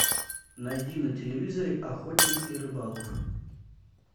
найди на телевизоре охотник и рыболов